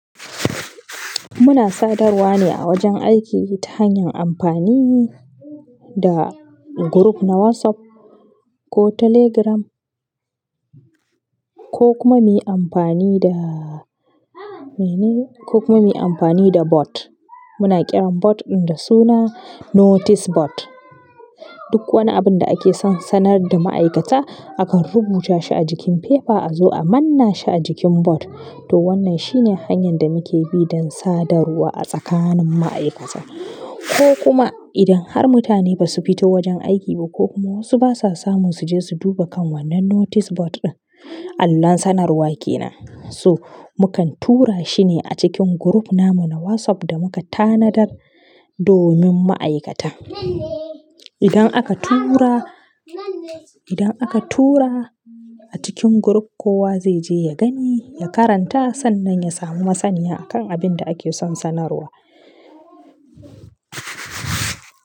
Ina sadarwa ne a wajen aiki ta hanyar amfani da guruf na WhatsApp ko Telegram, ko kuma muyi amfani da mene, ko kuma miyi amfani da bot. Muna kiran bot ɗin da suna notice bot. Duk wani abun da ake son sanar da ma'aikata, akan rubuta shi a jikin fefa a zo a manna shi a jikin bot. To, wannan shi ne hanyar da muke bi don sadarwa a tsakanin ma'aikata. Ko kuma idan har mutane ba su bi ta wajen aiki ba ko kuma wasu basa samun su je su duba kan wannan notice bot ɗin, allon sanarwa kenan. So, mu kan tura shi ne a cikin guruf namu na WhatsApp, da muka tanadar domin ma'aikata. Idan aka tura, idan aka tura a cikin guruf, kowa zai je ya gani, ya karanta sannan ya samu masaniya a kan abin da ake son sanarwa.